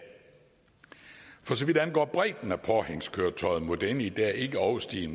for så vidt angår bredden af påhængskøretøjet må denne i dag ikke overstige